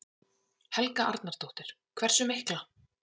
Helga Arnardóttir: Hversu mikla?